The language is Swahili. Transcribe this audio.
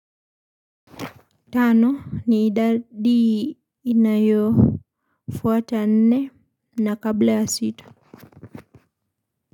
Tano, ni idadi inayo fwata nne na kabla ya sita.